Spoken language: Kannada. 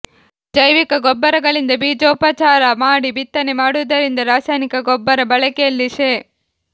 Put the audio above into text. ಜೈವಿಕ ಗೊಬ್ಬರಗಳಿಂದ ಬೀಜೋ ಪಚಾರ ಮಾಡಿ ಬಿತ್ತನೆ ಮಾಡು ವುದರಿಂದ ರಾಸಾಯನಿಕ ಗೊಬ್ಬರ ಬಳಕೆಯಲ್ಲಿ ಶೇ